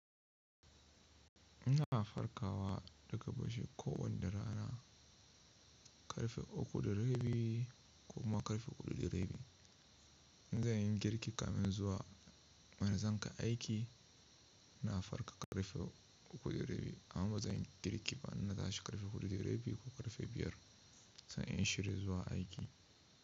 Ina farkawa daga bacci kowanne rana ƙarfe uku da rabi ko kuma ƙarfe huɗu da rabi. In za yin girki kaman zuwa mana zan ka aiki, na farka ƙarfe uku da rabi, amma ba zan yi girki ba, na tashi ƙarfe huɗu da rabi ko ƙarfe biyar, zan yi in shirya zuwa aiki.